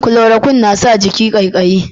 Kulorokwin na sa jiki kaikayi